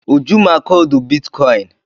Uju ma koodu bitkọịn.